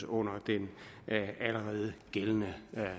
under den allerede gældende